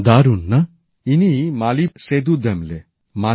দারুণ না ইনি মালির সেদূ দেম্বলে